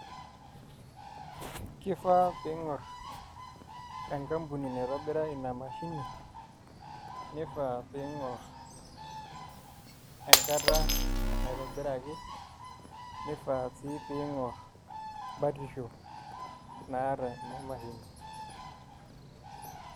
Kifaa pee ing'orr enkampuni naitobira ina mashini nifaa piing'or enkata apa naitobiraki nifaa sii piing'or batisho naata ina mashini.